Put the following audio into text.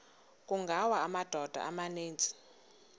kungawa amadoda amaninzi